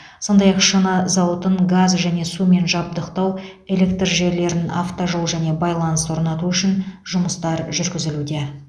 сондай ақ шыны зауытын газ және сумен жабдықтау электр желілерін автожол және байланыс орнату үшін жұмыстар жүргізілуде